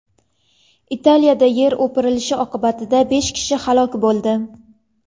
Italiyada yer o‘pirilishi oqibatida besh kishi halok bo‘ldi.